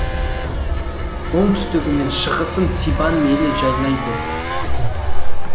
оңтүстігі мен шығысын сибан елі жайлайды